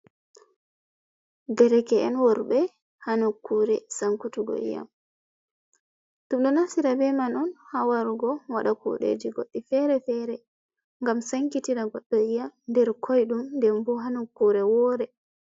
Derke’en worbe ha nukkore sankutugo iyam, dum do naftira be man on hawarugo wada kudeji goddi fere-fere gam sankitira goddo ya nder koidum dembu ha nukkore wore.